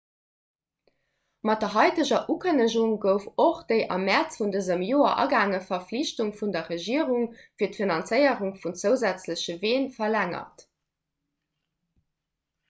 mat der haiteger ukënnegung gouf och déi am mäerz vun dësem joer agaange verflichtung vun der regierung fir d'finanzéierung vun zousätzleche ween verlängert